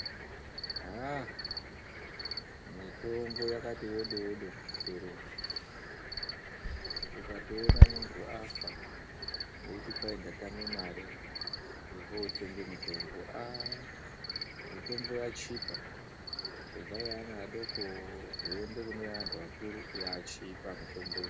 Mitombo yakati wodo wodo muzviitoro umwu. Ukatoona munthu afa eizwi watame mare yekutenga mitombo, mitombo yachipa kubva kune yeana adoko zveiende kune yeanhtu akuru yachipa mitombo iyi.